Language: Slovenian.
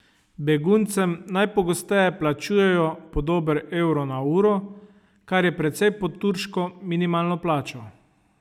Beguncem najpogosteje plačujejo po dober evro na uro, kar je precej pod turško minimalno plačo.